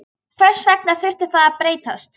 Hvers vegna þurfti það að breytast?